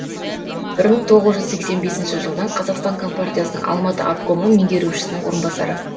бір мың тоғыз жүз сексен бесінші жылдан қазақстан компартиясының алматы обкомы меңгерушісінің орынбасары